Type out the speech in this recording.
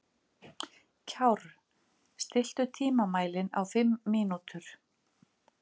Kjárr, stilltu tímamælinn á fimm mínútur.